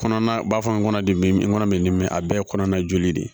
Kɔnɔ na b'a fɔ n kɔnɔ de n kɔnɔ mɛ n ni min a bɛɛ ye kɔnɔna joli de ye